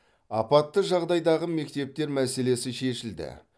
апатты жағдайдағы мектептер мәселесі шешілді